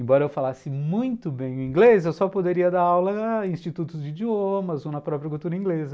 Embora eu falasse muito bem o inglês, eu só poderia dar aula em institutos de idiomas ou na própria cultura inglesa.